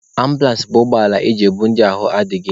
Ambụlans bụ ụgbọala eji ebu ndị ahụ adịghị.